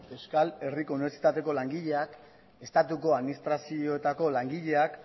euskal herriko unibertsitateko langilean estatuko administrazioetako langileak